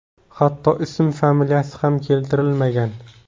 Hatto ism-familiyasi ham keltirilmagan.